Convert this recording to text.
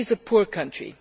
It is a poor country.